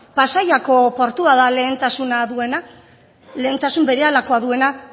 pasaiako portua da lehentasuna duena lehentasun berehalakoa duena